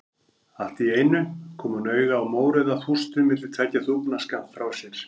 Allt í einu kom hún auga á mórauða þústu milli tveggja þúfna skammt frá sér.